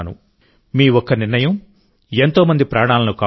మీ ఒక్క నిర్ణయం ఎంతో మంది ప్రాణాలను కాపాడుతుంది